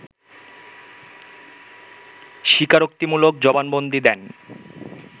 স্বীকারোক্তিমূলক জবানবন্দী দেন